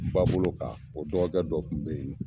Ba bolo kan o dɔgɔkɛ dɔ kun be yen